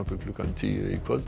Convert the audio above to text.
klukkan tíu í kvöld